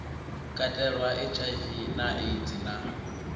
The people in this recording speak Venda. katelwa hiv na aids na